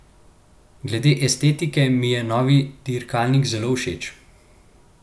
Glede estetike mi je novi dirkalnik zelo všeč.